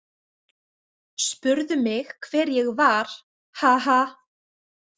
Spurðu mig hver ég var, ha- ha!